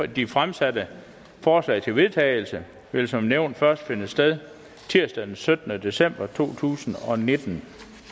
de fremsatte forslag til vedtagelse vil som nævnt først finde sted tirsdag den syttende december to tusind og nitten